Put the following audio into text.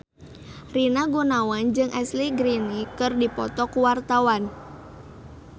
Rina Gunawan jeung Ashley Greene keur dipoto ku wartawan